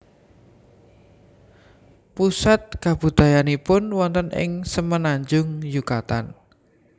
Pusat kabudayaannipun wonten ing Semenanjung Yukatan